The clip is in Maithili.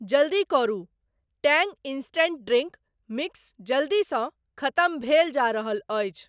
जल्दी करु, टैंग इंस्टेंट ड्रिंक मिक्स जल्दीसँ खतम भेल जा रहल अछि।